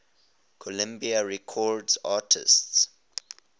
columbia records artists